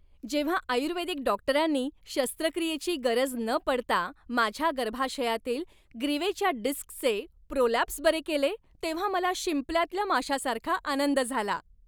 जेव्हा आयुर्वेदिक डॉक्टरांनी शस्त्रक्रियेची गरज न पडता माझ्या गर्भाशयातील ग्रीवेच्या डिस्कचे प्रोलॅप्स बरे केले तेव्हा मला शिंपल्यातल्या माश्यासारखा आनंद झाला.